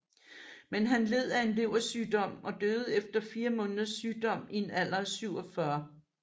Men han led af en leversygdom og døde efter fire måneders sygdom i en alder af 47